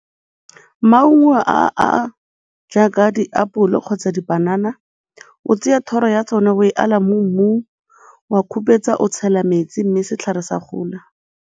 Maungo a a jaaka diapole kgotsa dipanana, o tseya thoro ya tsone ebe o e ala mo mmung, o a khupetsa, o tshela metsi mme setlhare sa gola.